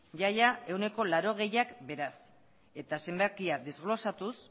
ia ia ehuneko laurogeita hamarak beraz eta zenbakia desglosatuz